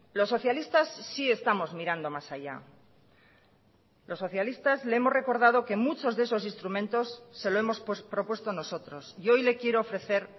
los socialistas sí estamos mirando más allá los socialistas le hemos recordado que muchos de esos instrumentos se lo hemos propuesto nosotros y hoy le quiero ofrecer